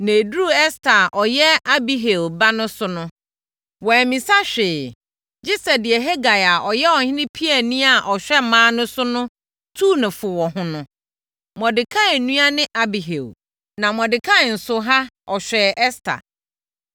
Na ɛduruu Ɛster a ɔyɛ Abihail ba no so no, wammisa hwee gye sɛ deɛ Hegai a ɔyɛ ɔhene piani a ɔhwɛ mmaa no so no tuu no fo wɔ ho no (Mordekai nua ne Abihail, na Mordekai nso ha ɔhwɛɛ Ɛster).